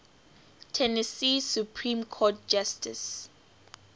tennessee supreme court justices